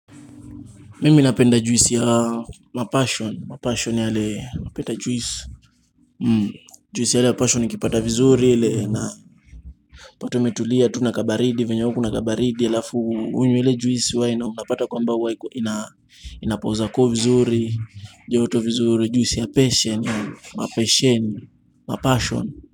Mimi napenda juisi ya mapasheni, mapasheni yale ukipata juisi, juisi ya pasheni ukipata vizuri utapata tu umetulia tu na baridi venye huwa kuna baridi alafu unywe ile juice unapata kwamba inapoza koo vizuri joto vizuri juisi ya pesa ma passion.